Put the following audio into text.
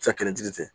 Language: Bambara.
Cɛ kelen fɛ